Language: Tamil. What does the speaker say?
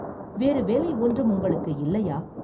வேறு வேலை ஒன்றும் உங்களுக்கு இல்லையா?